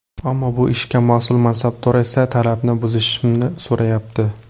Ammo bu ishga mas’ul mansabdor esa talabni buzishimni so‘rayapti.